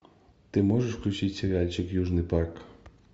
ты можешь включить сериальчик южный парк